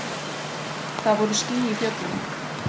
Það voru ský í fjöllum.